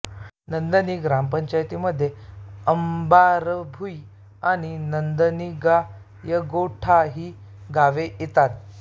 नंदनी ग्रामपंचायतीमध्ये अंबारभुई आणि नंदनीगायगोठा ही गावे येतात